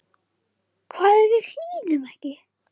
Hvað ef við hlýðum ekki?